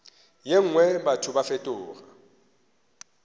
ye nngwe batho ba fetoga